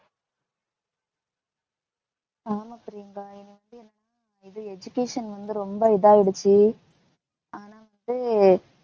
ஆமா பிரியங்கா education வந்து ரொம்ப இதாயிடிச்சு ஆனா வந்து